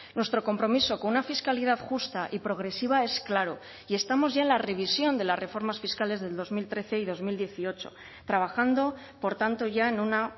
nuestro compromiso con una fiscalidad justa y progresiva es claro y estamos ya en la revisión de las reformas fiscales del dos mil trece y dos mil dieciocho trabajando por tanto ya en una